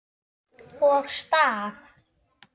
Og staf.